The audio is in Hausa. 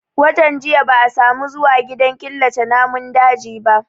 Watan jiya ba a samu zuwa gidan killace namun dajin ba